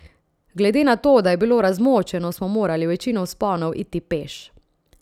Glede na to, da je bilo razmočeno, smo morali večino vzponov iti peš.